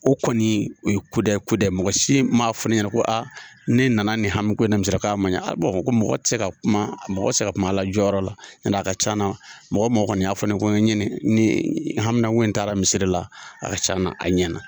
O kɔni o ye kudayi kudayi mɔgɔ si ma fɔ ne ɲɛna ko ne nana ni hami ko in na misiri la k'a ma ɲɛ ko mɔgɔ tɛ ka kuma mɔgɔ se ka kuma a la jɔyɔrɔ la, n'o tɛ a ka ca na mɔgɔ mɔgɔ kɔni y'a fɔ ne ye ko n ye ni hamina ko in taara misiri la a ka ca na a ɲɛna.